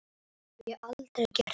Það hef ég aldrei gert.